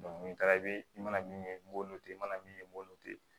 ni taara i bɛ i mana min ye n b'o to ten i mana min ye n b'o to ten